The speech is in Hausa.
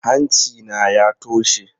Hanci na ya toshe.